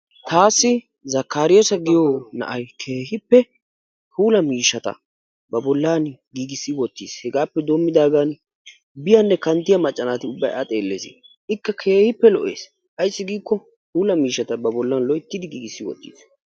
Taassi zakkariyassa giyo na'aykeehippe puula miishshata ba bollan giigissi wottis. Hegaappe doommidaagan biyanne kanttiya macca naati ubbay a xeelles. Ikka keehippe lo'es. Ayissi giikko puula miishshata ba bollan loyittidi giigissi wottis.